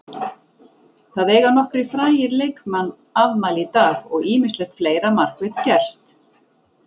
Það eiga nokkrir frægir leikmann afmæli í dag og ýmislegt fleira markvert gerst.